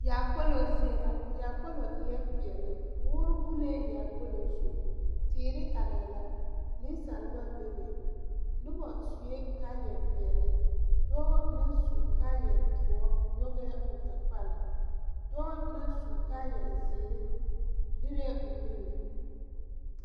Yaakpolo zie la yaakpolo e la peɛlle moɔ bullee yaakpolo zu teere arɛɛ la nensaalba bebe noba sue kaayapeɛlle dɔɔ naŋ su kaayɛdoɔre nyɔgɛɛ o takpal dɔɔ naŋ su kaayɛzeere lerɛɛ o nuuri.